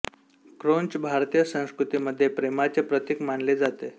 क्रौंच भारतीय संस्कृती मध्ये प्रेमाचे प्रतिक मानले जाते